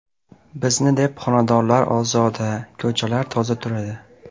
Bizni deb xonadonlar ozoda, ko‘chalar toza turadi.